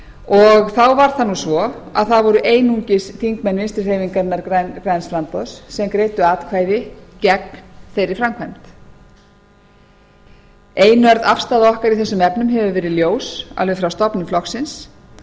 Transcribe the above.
og þá var það svo að það voru einungis þingmenn vinstri hreyfingarinnar græns framboðs sem greiddu atkvæði gegn þeirri framkvæmd einörð afstaða afar í þessum efnum hefur verið ljós alveg frá stofnun flokksins